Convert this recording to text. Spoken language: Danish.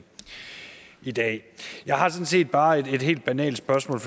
i dag jeg har sådan set bare et helt banalt spørgsmål